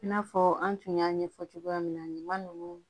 I n'a fɔ an tun y'a ɲɛfɔ cogoya min na ɲama ninnu